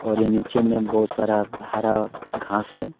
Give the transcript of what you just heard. और ये नीचे में बहुत सारा हरा घास है।